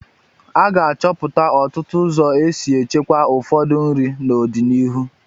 A ga-achọpụta ọtụtụ ụzọ esi echekwaa ụfọdụ nri n'ọdịnihu.